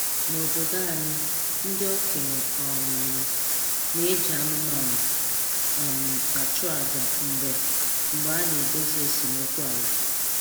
N'obodo anyị, ndị okenye um na-eji anụmanụ um achụ aja mgbe mgbe a na-edozi esemokwu ala